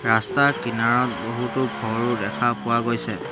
ৰাস্তাৰ কিনৰত বহুতো ঘৰো দেখা পোৱা গৈছে।